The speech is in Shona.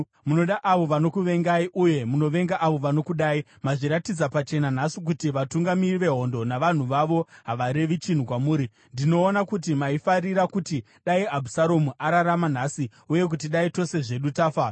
Munoda avo vanokuvengai uye munovenga avo vanokudai. Mazviratidza pachena nhasi kuti vatungamiri vehondo navanhu vavo havarevi chinhu kwamuri. Ndinoona kuti maifarira kuti dai Abhusaromu ararama nhasi uye kuti dai tose zvedu tafa.